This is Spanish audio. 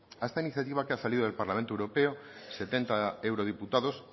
a esta iniciativa que ha salido del parlamento europeo setenta eurodiputados